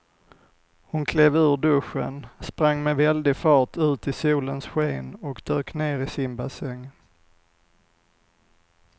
Hon klev ur duschen, sprang med väldig fart ut i solens sken och dök ner i simbassängen.